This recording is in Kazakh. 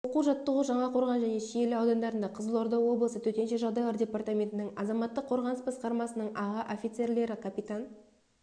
оқу-жаттығу жаңақорған және шиелі аудандарында қызылорда облысы төтенше жағдайлар департаментінің азаматтық қорғаныс басқармасының аға офицерлері капитан